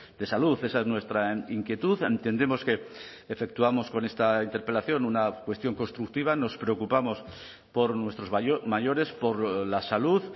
de salud esa es nuestra inquietud entendemos que efectuamos con esta interpelación una cuestión constructiva nos preocupamos por nuestros mayores por la salud